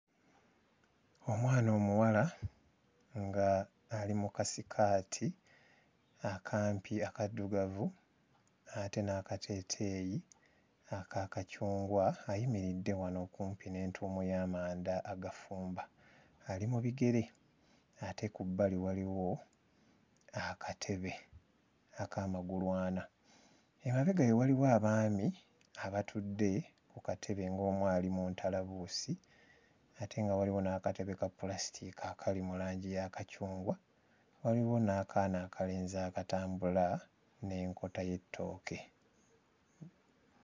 Omwana omuwala nga ali mu kasikaati akampi akaddugavu ate n'akateeteeyi aka kacungwa ayimiridde wano okumpi n'entuumo y'amanda agafumba, ali mu bigere ate ku bbali waliwo akatebe ak'amagulu ana, emabega we waliwo abaami abatudde ku katebe ng'omu ali mu ntalabuusi ate nga waliwo n'akatebe ka ppulasitiika akali mu langi ya kacungwa, waliwo n'akaana akalenzi akatambula n'enkota y'ettooke.